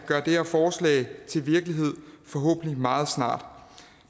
gøre det her forslag til virkelighed forhåbentlig meget snart